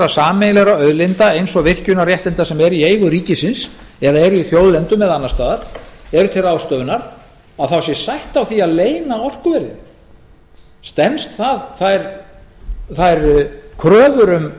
sameiginlegra auðlinda eins og virkjunarréttinda sem eru í eigu ríkisins eða eru í þjóðlendum eða annars staðar eru til ráðstöfunar að þá sé stætt á því að leyna orkuverðinu stenst það þær kröfur um